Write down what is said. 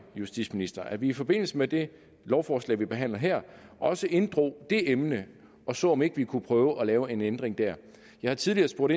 justitsministeren at vi i forbindelse med det lovforslag vi behandler her også inddrog det emne og så om ikke vi kunne prøve at lave en ændring der jeg har tidligere spurgt